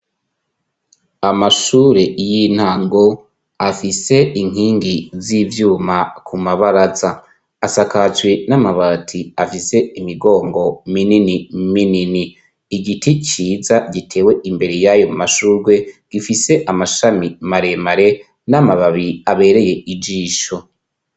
Amashure y'intango afise inkingi z'ivyuma ku mabaraza asakajwe n'amabati afise imigongo minini minini, igiti ciza gitewe imbere y'ayo mashugwe gifise amashami maremare n'amababi abereye ijisho.